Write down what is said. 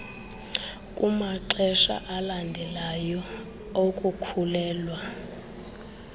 kumaxesha alandelayo okukhulelwa